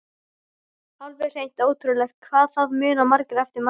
Alveg hreint ótrúlegt hvað það muna margir eftir manni!